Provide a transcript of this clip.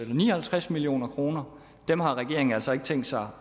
ni og halvtreds million kroner dem har regeringen altså ikke tænke sig